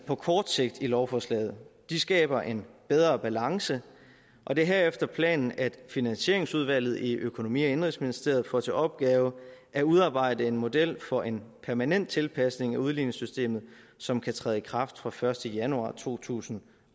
på kort sigt i lovforslaget de skaber en bedre balance og det er herefter planen at finansieringsudvalget i økonomi og indenrigsministeriet får til opgave at udarbejde en model for en permanent tilpasning af udligningssystemet som kan træde i kraft fra første januar to tusind